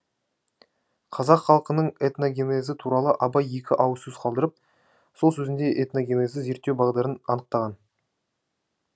қазақ халқының этногенезі туралы абай екі ауыз сөз қалдырып сол сөзінде этногенезді зерттеу бағдарын анықтаған